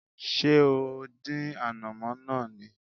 Ṣé o dín ànàmọ́ náà ni?